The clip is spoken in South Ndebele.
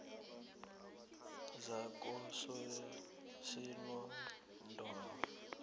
zakososinodolo